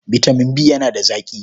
Bitamin B yana da zaƙi.